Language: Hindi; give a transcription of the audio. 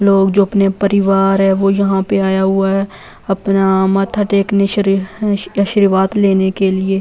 लोग जो अपने परिवार है वो यहां पर आया हुआ है अपना माथा टेकने शरीर आशीर्वाद लेने के लिए।